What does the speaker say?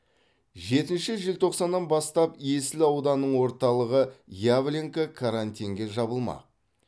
жетінші желтоқсаннан бастап есіл ауданының орталығы явленка карантинге жабылмақ